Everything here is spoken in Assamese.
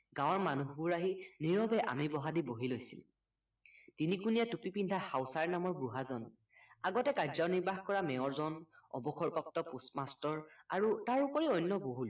গাৱৰ মানুহবোৰ আহি নিৰৱে আমি বহাদি বহি লৈছিল তিনিকুণীয়া টুপি পিন্ধা হাউচাৰ নামৰ বুঢ়া জন আগতে কাযনিৰ্বাহ কৰা মেয়ৰজন অৱসৰপ্ৰাপ্ত post master তাৰ ওপৰি অন্য বহুত